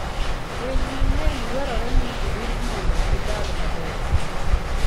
Winy mang'eny dwarore ni orit mondo gidag maber.